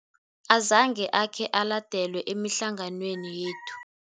Azange akhe aladelwe emihlanganweni yethu.